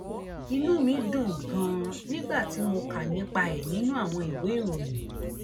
inú mi dùn ganan nígbà tí mo kà nípa ẹ nínú àwọn ìwé ìròyìn